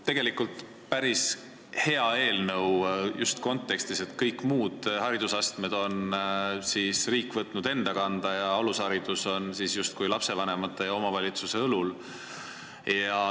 See on päris hea eelnõu, eriti kontekstis, et kõik muud haridusastmed on riik võtnud enda kanda, alusharidus on lapsevanemate ja omavalitsuste õlul.